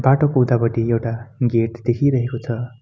बाटोको उतापटि एउटा गेट देखि रहेको छ।